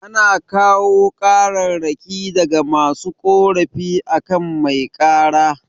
Ana kawo kararraki daga masu korafi akan mai kara